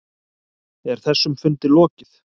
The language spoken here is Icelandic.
Er þessum fundi lokið?